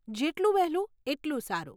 જેટલું વહેલું, એટલું સારું.